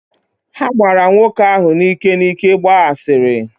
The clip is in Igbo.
Ha gbaara nwoke ahụ n’ike n’ike gbaa asịrị